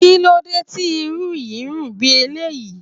Kíló dé tí Irú yìí ń rùn bí eléyìí?